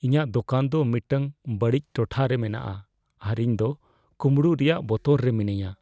ᱤᱧᱟᱹᱜ ᱫᱳᱠᱟᱱ ᱫᱚ ᱢᱤᱫᱴᱟᱝ ᱵᱟᱹᱲᱤᱡ ᱴᱚᱴᱷᱟ ᱨᱮ ᱢᱮᱱᱟᱜᱼᱟ ᱟᱨ ᱤᱧᱫᱚ ᱠᱳᱢᱲᱳᱜ ᱨᱮᱭᱟᱜ ᱵᱚᱛᱚᱨ ᱨᱮ ᱢᱤᱱᱟᱹᱧᱟ ᱾